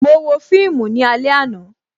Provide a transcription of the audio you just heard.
Mo wo fíìmù ní alẹ àná